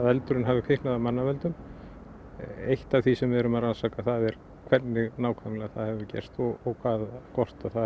eldurinn hafi kviknað af mannavöldum eitt af því sem við erum að rannsaka er hvernig það hefur gerst og hvort að það